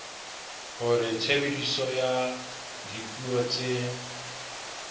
hore tshebediso ya dipuo tse